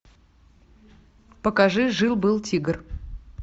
покажи жил был тигр